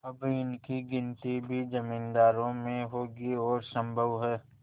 अब इनकी गिनती भी जमींदारों में होगी और सम्भव है